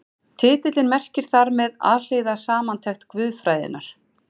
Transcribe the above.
Titillinn merkir þar með Alhliða samantekt guðfræðinnar.